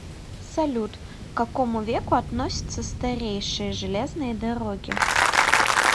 салют к какому веку относятся старейшие железные дороги